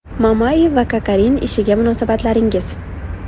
Mamayev va Kokorin ishiga munosabatingiz?